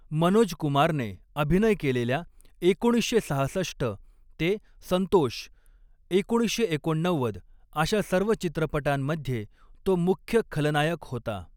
मनोज कुमारने अभिनय केलेल्या एकोणीसशे सहासष्ट ते संतोष, एकोणीसशे एकोणनव्वद अशा सर्व चित्रपटांमध्ये तो मुख्य खलनायक होता.